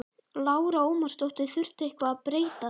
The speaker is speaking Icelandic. Lára Ómarsdóttir: Þurfti eitthvað að breyta þeim?